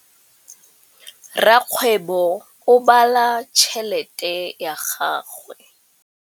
Rakgwêbô o bala tšheletê ya gagwe.